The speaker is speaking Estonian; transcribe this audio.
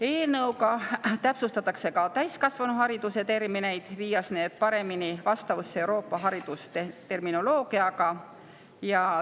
Eelnõu kohaselt täpsustatakse ka täiskasvanuhariduse termineid, viies need paremini vastavusse Euroopa haridusterminoloogiaga.